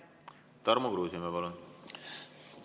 Tarmo Kruusimäe, palun!